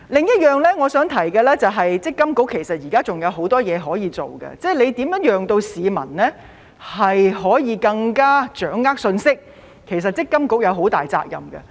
我想提出的另一點是，其實積金局現時仍然有很多事情可以做，例如如何令市民可以更加掌握信息，積金局其實是有很大責任的。